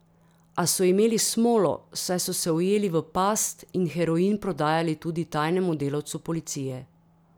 A so imeli smolo, saj so se ujeli v past in heroin prodajali tudi tajnemu delavcu policije.